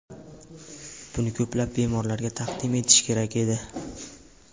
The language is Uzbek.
Buni ko‘plab bemorlarga taqdim etish kerak edi.